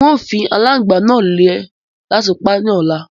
Ń ó fii alàngbà náà lẹ̀ láti pá ni ọ̀la